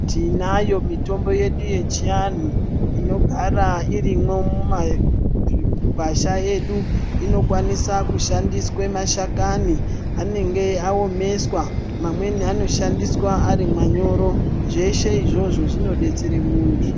Tinayo mitombo yedu yechiantu inogara irimwo mumagwasha edu. Inokwanisa kushandiswa mashakani anenge aomeswa. Mamweni anoshandiswa ari manyoro. Zveshe izvozvo zvinodetsere muntu.